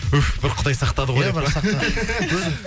ух бір құдай сақтады ғой иә бірақ